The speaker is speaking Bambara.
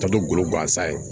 Ka to golo gansan ye